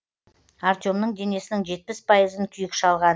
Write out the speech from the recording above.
артемнің денесінің жетпіс пайызын күйік шалған